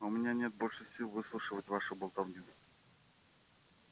у меня нет больше сил выслушивать вашу болтовню